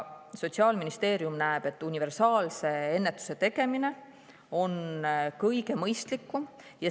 Sotsiaalministeerium näeb, et universaalse ennetuse tegemine on kõige mõistlikum.